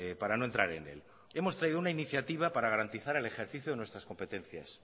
para no entrar en él hemos traído una iniciativa para garantizar el ejercicio de nuestras competencias